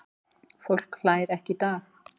Fólk hlær ekki í dag.